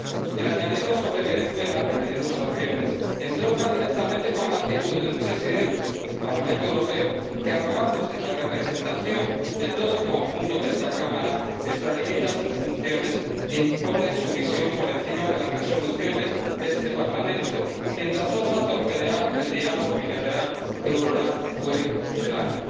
El añadido sobre Venezuela, pidiendo sanciones, entronca directamente con la actitud de un presidente del Parlamento Europeo que, arrogándose la representación de todo el conjunto de esta Cámara, se extralimita en sus funciones e impone su visión por encima de las resoluciones de este Parlamento, mientras osa torpedear el diálogo bilateral EuroLat UE CELAC.